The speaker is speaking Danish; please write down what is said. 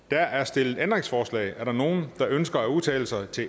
der er stillet ændringsforslag er der nogen der ønsker at udtale sig